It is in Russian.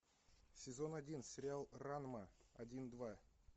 сезон один сериал ранма один два